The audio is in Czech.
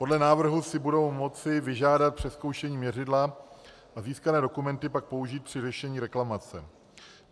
Podle návrhu si budou moci vyžádat přezkoušení měřidla a získané dokumenty pak použít při řešení reklamace.